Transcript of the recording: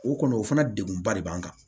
O kɔni o fana degunba de b'an kan